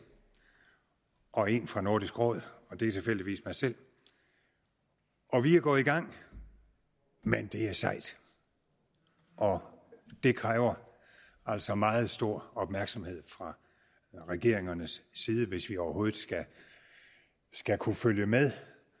og en fra nordisk råd og det er tilfældigvis mig selv vi er gået i gang men det er sejt og det kræver altså meget stor opmærksomhed fra regeringernes side hvis vi overhovedet skal kunne følge med